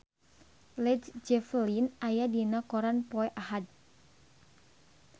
Led Zeppelin aya dina koran poe Ahad